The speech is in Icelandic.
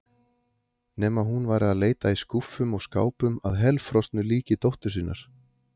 Nema hún væri að leita í skúffum og skápum að helfrosnu líki dóttur sinnar.